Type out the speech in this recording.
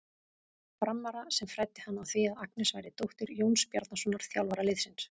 Frammara sem fræddi hann á því að Agnes væri dóttir Jóns Bjarnasonar, þjálfara liðsins.